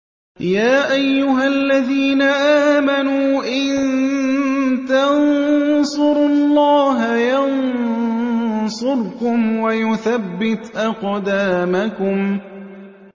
يَا أَيُّهَا الَّذِينَ آمَنُوا إِن تَنصُرُوا اللَّهَ يَنصُرْكُمْ وَيُثَبِّتْ أَقْدَامَكُمْ